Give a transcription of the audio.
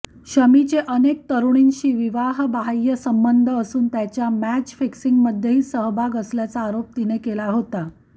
शमीचे अनेक तरुणींशी विवाहबाह्य संबंध असून त्याचा मॅच फिक्सिंगमध्येही सहभाग असल्याचा आरोप तिने केला होता